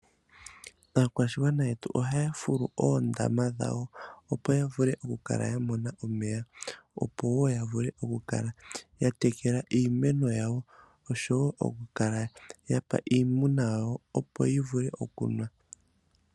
Aakwashigwana yetu ohaya fulu oondama dhawo, opo yavule okukala yamona omeya, opo wo yavule okukala yatekela iimeno yawo, osho wo okukala yapa iimuna yawo opo yivule okunwa.